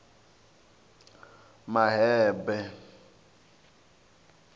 mahebe